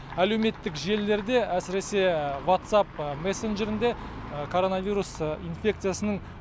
әлеуметтік желілерде әсіресе ватсап мессенджерінде коронавирус инфекциясының